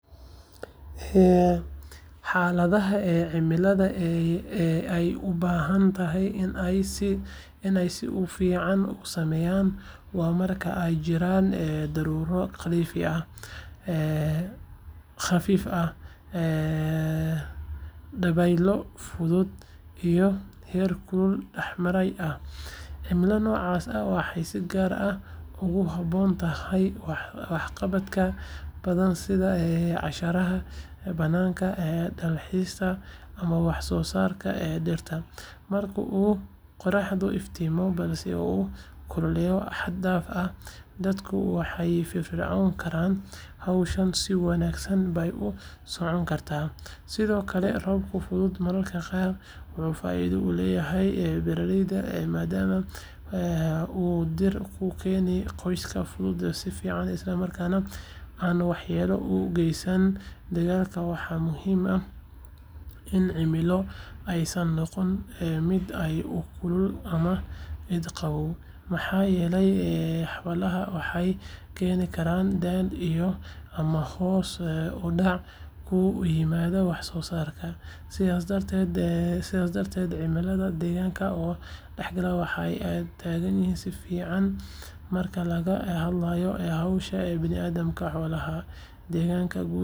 Xaaladaha cimilada ee ay u badan tahay in ay sida ugu fiican u sameeyaan waa marka ay jiraan daruuro khafiif ah, dabaylo fudud, iyo heerkul dhexdhexaad ah. Cimilo noocaas ah waxay si gaar ah ugu habboon tahay waxqabadyo badan sida cayaaraha bannaanka, dalxiiska, ama wax soo saarka dhirta. Marka uu qorraxdu iftiimo balse aanu kululayn xad dhaaf ah, dadku way firfircooni karaan, hawshana si wanaagsan bay u socon kartaa. Sidoo kale, roobka fudud mararka qaar wuxuu faa’iido u leeyahay beeralayda, maadaama uu dhirta u keeno qoyaan kugu filan isla markaana aan waxyeello u geysan dalagyada. Waxaa muhiim ah in cimilada aysan noqon mid aad u kulul ama aad u qabow, maxaa yeelay xaaladahaas waxay keeni karaan daal, jirro, ama hoos u dhac ku yimaada wax soo saarka. Sidaas darteed, cimilada deggan oo dhexdhexaad ah ayaa ah tan ugu fiican marka laga hadlayo howlaha bini’aadamka, xoolaha, iyo deegaanka guud ahaan.